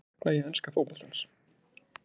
Sakna ég enska fótboltans?